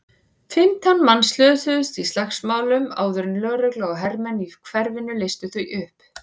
Fimmtán manns slösuðust í slagsmálunum áður en lögregla og hermenn í hverfinu leystu þau upp.